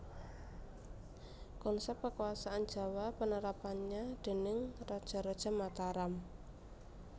Konsep Kekuasaan Jawa Penerapannya déning Raja raja Mataram